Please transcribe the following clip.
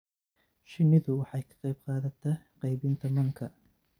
Shinnidu waxay ka qayb qaadataa qaybinta manka.